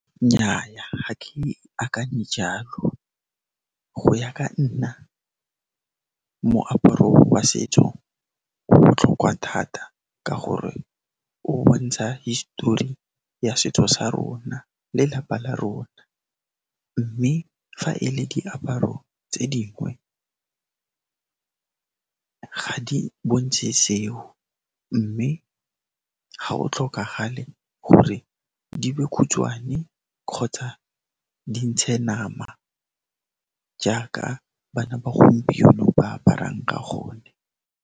Nnyaa, ga ke akanye jalo go ya ka nna moaparo wa setso o botlhokwa thata ka gore o bontsha hisitori ya setso sa rona lelapa la rona mme fa e le diaparo tse dingwe bontshe seo mme ga o tlhokagale gore di be khutshwane kgotsa di ntshe nama jaaka bana ba gompieno ba aparang ka gone.